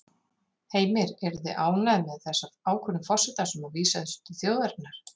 Heimir: Eruð þið ánægð með þessa ákvörðun forsetans að vísa þessu til þjóðarinnar?